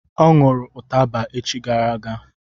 Ọ ṅụrụ ụtaba echi gara aga